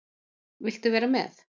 Vilt þú vera með?